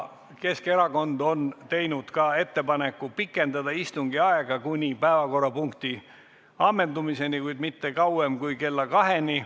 Keskerakond on teinud ka ettepaneku pikendada istungi aega kuni päevakorrapunkti ammendumiseni, kuid mitte kauem kui kella kaheni.